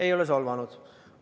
Ei ole solvanud!